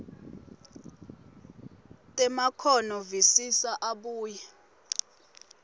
temakhono visisa abuye